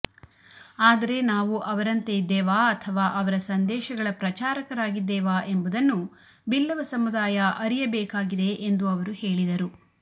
ಆದರೆ ನಾವು ಅವರಂತೆ ಇದ್ದೇವಾ ಅಥವಾ ಅವರ ಸಂದೇಶಗಳ ಪ್ರಚಾರಕರಾಗಿದ್ದೇವಾ ಎಂಬುದನ್ನು ಬಿಲ್ಲವ ಸಮುದಾಯ ಅರಿಯಬೇಕಾಗಿದೆ ಎಂದು ಅವರು ಹೇಳಿದರು